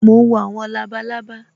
Mo ń wo àwọn labalábá